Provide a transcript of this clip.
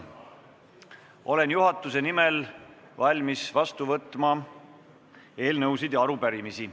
Olen juhatuse nimel valmis vastu võtma eelnõusid ja arupärimisi.